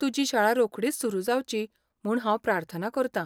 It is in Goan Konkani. तुजी शाळा रोखडीच सुरू जावची म्हूण हांव प्रार्थना करतां.